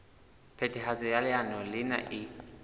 phethahatso ya leano lena e